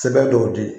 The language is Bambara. Sɛbɛn dɔw di